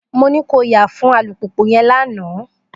Mo ní ko yà fún alùpùpù yẹn lánàá!